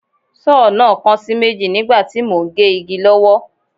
Sọ́ọ̀ náà kan sí méjì nígbà tí mò ń gé igi lọ́wọ́